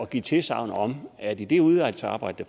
give tilsagn om at i det udvalgsarbejde